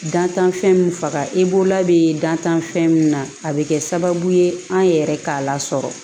Dantanfɛn min faga i bolola bɛ dantanfɛn min na a bɛ kɛ sababu ye an yɛrɛ k'a lasɔrɔ